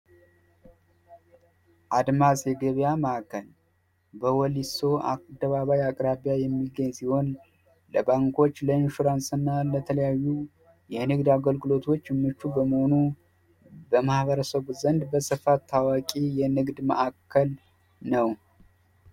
አድማስ የገበያ ማዕከል በወሊሶ አደባባይ አቅራቢያ የሚገኝ ሲሆን ለባንኮች ፣ለኢንሹራንስ እና ለተለያዩ የንግድ አገልግሎቶች ምቹ በመሆኑ በማህበረሰቡ ዘንድ ታዋቂ የንግድ ማዕከል ነው።